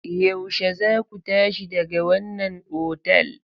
Yaushe zaku tashi daga wannan otal?